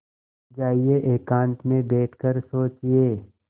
जाइए एकांत में बैठ कर सोचिए